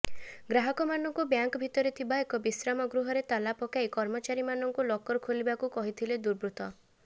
ଗ୍ରାହକମାନଙ୍କୁ ବ୍ୟାଙ୍କ ଭିତରେ ଥିବା ଏକ ବିଶ୍ରାମ ଗୃହରେ ତାଲା ପକାଇ କର୍ମଚାରୀମାନଙ୍କୁ ଲକର ଖୋଲିବାକୁ କହିଥିଲେ ଦୁର୍ବୃତ୍ତ